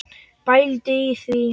Pældu í því.